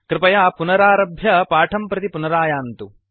कृपया पुनरारभ्य पाठं प्रति पुनरायान्तु